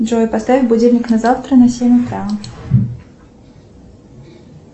джой поставь будильник на завтра на семь утра